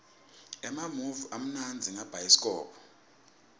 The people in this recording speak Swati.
emamuvi amnandza ngabhayisikobho